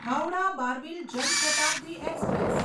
Howrah Barbil Jan Shatabdi express